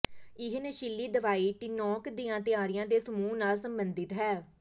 ਇਹ ਨਸ਼ੀਲੀ ਦਵਾਈ ਟੌਿਨਕ ਦੀਆਂ ਤਿਆਰੀਆਂ ਦੇ ਸਮੂਹ ਨਾਲ ਸਬੰਧਿਤ ਹੈ